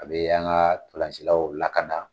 A be an ga ntolancilaw lakana